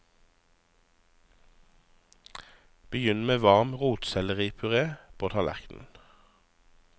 Begynn med varm rotselleripuré på tallerkenen.